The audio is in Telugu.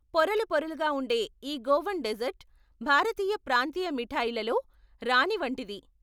పొరలు పొరలుగా ఉండే ఈ గోవన్ డెజర్ట్ భారతీయ ప్రాంతీయ మిఠాయిల్లో రాణి వంటిది.